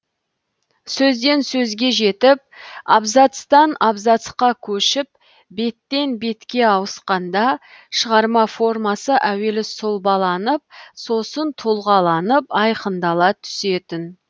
сөзден сөзге жетіп абзацтан абзацқа көшіп беттен бетке ауысқанда шығарма формасы әуелі сұлбаланып сосын тұлғаланып айқындала түсетін